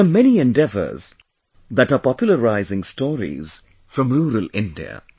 There are many endeavours that are popularising stories from rural India